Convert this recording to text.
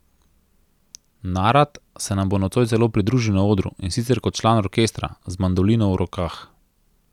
Narat se nam bo nocoj celo pridružil na odru, in sicer kot član orkestra, z mandolino v rokah.